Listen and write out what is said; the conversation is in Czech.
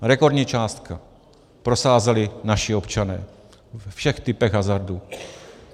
Rekordní sázku prosázeli naši občané ve všech typech hazardů.